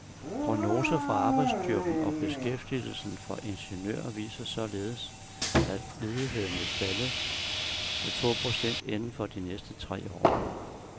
Prognoser for arbejdsstyrken og beskæftigelsen for ingeniører viser således, at ledigheden vil falde til få procent inden for de næste tre år.